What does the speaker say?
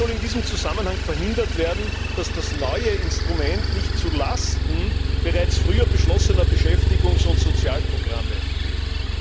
Wie soll in diesem Zusammenhang verhindert werden, dass das neue Instrument zu Lasten bereits früher beschlossener Beschäftigungs und Sozialprogramme geht?